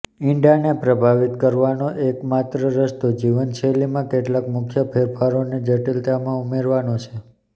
ઇંડાને પ્રભાવિત કરવાનો એકમાત્ર રસ્તો જીવનશૈલીમાં કેટલાક મુખ્ય ફેરફારોને જટિલમાં ઉમેરવાનો છે